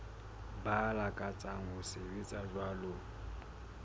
ba lakatsang ho sebetsa jwalo